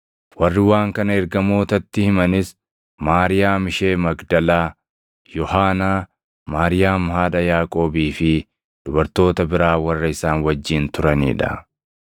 Warri waan kana ergamootatti himanis Maariyaam ishee Magdalaa, Yohaanaa, Maariyaam haadha Yaaqoobii fi dubartoota biraa warra isaan wajjin turanii dha.